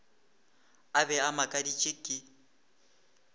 a be a makaditšwe ke